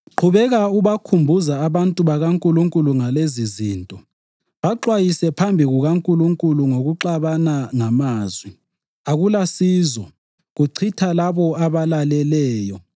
Qhubeka ubakhumbuza abantu bakaNkulunkulu ngalezizinto. Baxwayise phambi kukaNkulunkulu ngokuxabana ngamazwi; akulasizo, kuchitha labo abalaleleyo.